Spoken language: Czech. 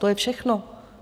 To je všechno.